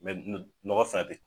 nɔgɔ sa de